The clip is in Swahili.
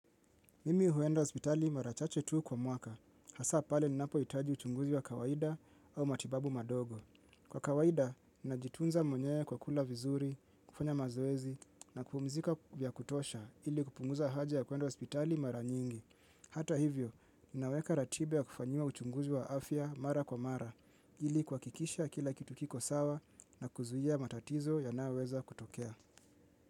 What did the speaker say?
Mimi huenda hospitali mara chache tu kwa mwaka, hasa pale ninapohitaji uchunguzi wa kawaida au matibabu madogo. Kwa kawaida, ninajitunza mwenyewe kwa kula vizuri, kufanya mazoezi, na kupumzika vya kutosha ili kupunguza haja ya kuenda hospitali mara nyingi. Hata hivyo, ninaweka ratiba ya kufanyiwa uchunguzi wa afya mara kwa mara, ili kuhakikisha kila kitu kiko sawa na kuzuia matatizo yanayoweza kutokea.